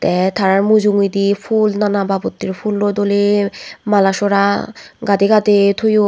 te tara mujungedi ful nanababotter fulloi doley malasora gade gade toyon.